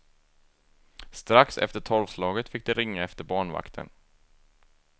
Strax efter tolvslaget fick de ringa efter barnvakten.